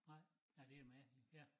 Nej ja det med ja